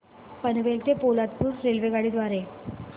पनवेल ते पोलादपूर रेल्वेगाडी द्वारे